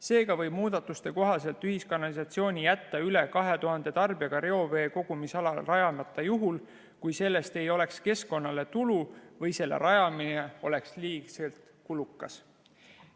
Seega võib muudatuste kohaselt ühiskanalisatsiooni jätta üle 2000 tarbijaga reoveekogumisalale rajamata juhul, kui sellest ei oleks keskkonnale tulu või selle rajamine oleks liiga kulukas.